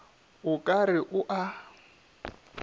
o ka re o a